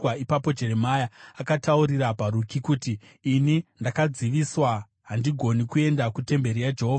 Ipapo Jeremia akataurira Bharuki kuti, “Ini ndakadziviswa, handigoni kuenda kutemberi yaJehovha.